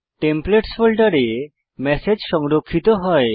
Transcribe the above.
templates ফোল্ডারে message সংরক্ষিত হয়